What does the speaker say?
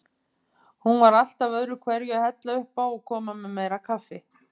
Hún var alltaf öðruhverju að hella uppá og koma með meira kaffi.